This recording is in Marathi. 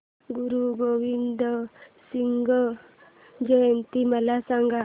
गुरु गोविंद सिंग जयंती मला सांगा